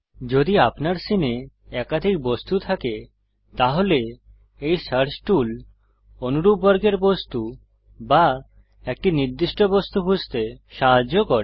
যদি আপনার সীনে একাধিক বস্তু থাকে তাহলে এই সার্চ টুল অনুরূপ বর্গের বস্তু বা একটি নির্দিষ্ট বস্তু খুঁজতে সাহায্য করে